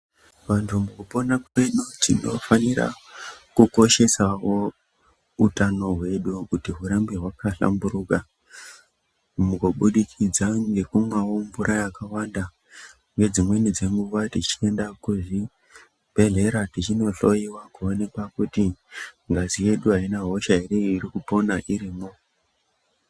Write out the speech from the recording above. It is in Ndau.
Vantu mukupona kwedu tinofanire kukoshesawo utano hwedu kuti, hurambe hwakahlamburuka, mukubudikidza mukumwawo mvura yakawanda nedzimweni dzenguva teienda kuzvibhehlera tichino hloyiwa kuti ngazi yedu haina hosha here iri kupona irimwo.